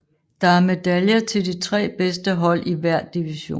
Der er medaljer til de 3 bedste hold i hver division